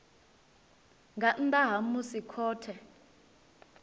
nga nnḓa ha musi khothe